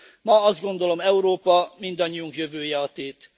Ma azt gondolom, Európa, mindannyiunk jövője a tét.